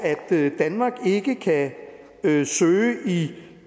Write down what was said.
at danmark ikke kan søge i